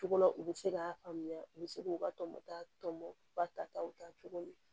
Cogo la u bɛ se k'a faamuya u bɛ se k'u ka tɔmɔta tɔmɔ u ka ta taw ta cogo min na